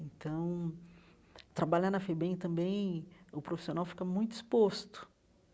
Então, trabalhar na FEBEM também, o profissional fica muito exposto.